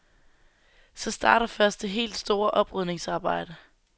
Så starter først det helt store oprydningsarbejde.